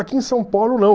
Aqui em São Paulo não.